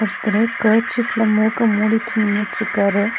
ஒருத்தரு கர்ச்சீஃப்ல மூக்க மூடிட்டு நின்னுட்ருக்காரு.